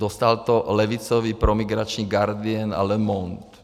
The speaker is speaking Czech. Dostal to levicový promigrační Guardian a Le Monde.